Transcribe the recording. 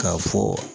K'a fɔ